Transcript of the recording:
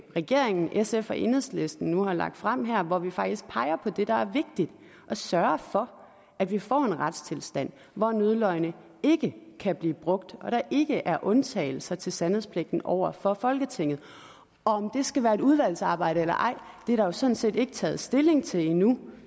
regeringen sf og enhedslisten nu har lagt frem her hvor vi faktisk peger på det der er vigtigt og sørger for at vi får en retstilstand hvor nødløgne ikke kan blive brugt og der ikke er undtagelser til sandhedspligten over for folketinget og om det skal være et udvalgsarbejde eller ej er der jo sådan set ikke taget stilling til endnu